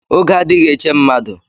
Oge adịghị eche mmadụ